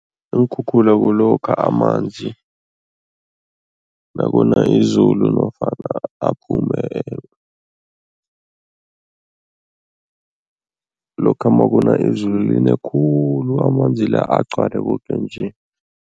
Iinkhukhula kulokha amanzi nakuna izulu nofana aphume lokha makuna izulu, line khulu, amanzi la agcwale koke nje.